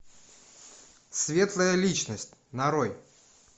светлая личность нарой